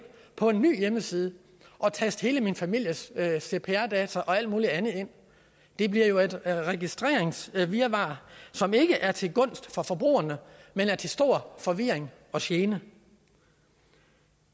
på en ny hjemmeside og taste hele min families cpr data og alt muligt andet ind det bliver jo et registreringsvirvar som ikke er til gunst for forbrugerne men er til stor forvirring og gene